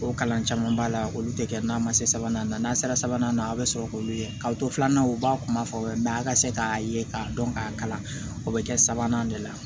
O kalan caman b'a la olu tɛ kɛ n'a ma se sabanan na n'a sera sabanan na a bɛ sɔrɔ k'olu ye k'a to filananw u b'a kuma fɔ mɛ a ka se k'a ye k'a dɔn k'a kalan o bɛ kɛ sabanan de la